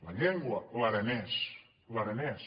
la llengua l’aranès l’aranès